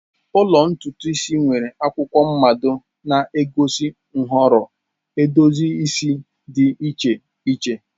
Ụlọ ntutu isi nwere akwụkwọ mmado na-egosi nhọrọ edozi isi dị iche iche.